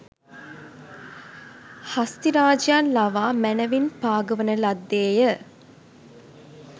හස්තිරාජයන් ලවා මැනැවින් පාගවන ලද්දේ ය